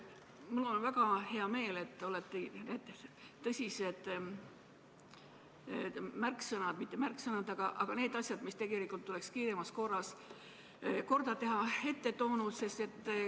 Mul on väga hea meel, et te olete tõsised märksõnad – või mitte märksõnad, vaid need asjad, mis tegelikult tuleks kiiremas korras korda teha – välja toonud.